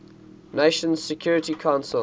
nations security council